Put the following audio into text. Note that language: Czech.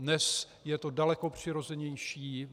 Dnes je to daleko přirozenější.